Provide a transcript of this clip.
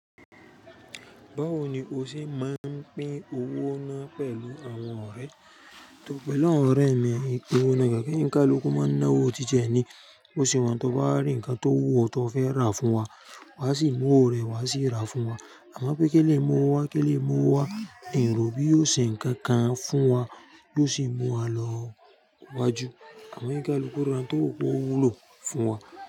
Báwo ni o ṣe máa ń pín owó náà pẹ̀lú àwọn ọ̀rẹ́ ẹ? Tọ́, pẹ̀lú àwọn ọ̀rẹ́ mi, n e pín owó náà kankan ounkaluku máa ń ná owó titi ni. Bó sì wà hun tó bá rí ǹkan tó wú o tó fẹ́ rà fún wa, wa sì mú owó rẹ wá sì rà fún wa. Àmọ́ pé eleyi mú owó wa, eleyi mú owó wa, n rò bí yóò ṣe ǹkan kan fún wa bió sì mú wa lọ wájú. Àmọ́ e kaluku ra n to wu pe owulo fún wa.